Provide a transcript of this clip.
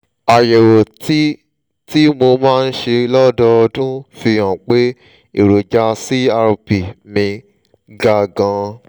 àyẹ̀wò tí tí mo máa ń ṣe lọ́dọọdún fi hàn pé èròjà crp mi ga gan-an